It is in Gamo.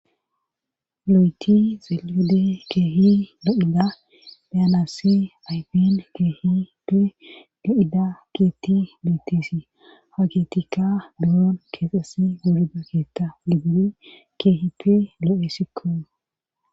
loytti xelliyode keehi lo7ida be7anassi aypen keehippe lo7ida keetti beettesi ha keettika buroon keexessi wurida keetta gididi keehippe lo7eesikko.